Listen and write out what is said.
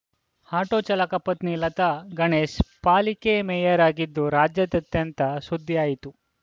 auto ಚಾಲಕನ ಪತ್ನಿ ಲತಾ ಗಣೇಶ್‌ ಪಾಲಿಕೆ ಮೇಯರ್‌ ಆಗಿದ್ದು ರಾಜ್ಯಾದ್ದ ದ್ಯಂತ ಸುದ್ದಿಯಾಯಿತು